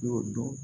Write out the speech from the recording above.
N y'o dɔn